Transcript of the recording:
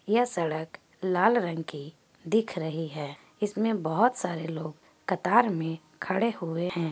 यह सड़क लाल रंग की दिख रही है। इसमे बहुत सारे लोग कतार मे खड़े हुवे है।